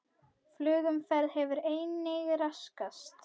Flugumferð hefur einnig raskast